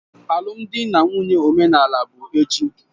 Alụmdi na nwunye omenala bụ echi